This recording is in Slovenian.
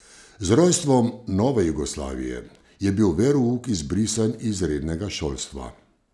Z rojstvom nove Jugoslavije je bil verouk izbrisan iz rednega šolstva.